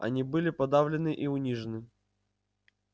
они были подавлены и унижены